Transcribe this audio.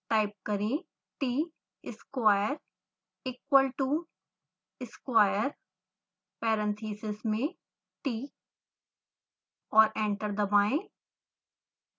type करें tsquare=square parentheses में t और एंटर दबाएं